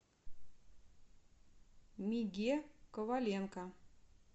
миге коваленко